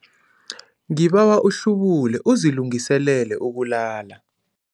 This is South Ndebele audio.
Ngibawa uhlubule uzilungiselele ukulala.